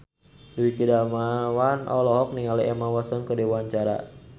Dwiki Darmawan olohok ningali Emma Watson keur diwawancara